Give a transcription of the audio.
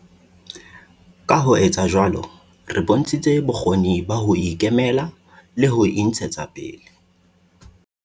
Ka ho etsa jwalo, re bontshitse bokgoni ba ho ikemela le ho intshetsa pele.